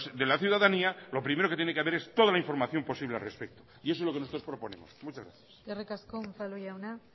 de la ciudadanía lo primero que tiene que haber es toda la información posible al respecto y eso es lo que nosotros proponemos muchas gracias eskerrik asko unzalu jauna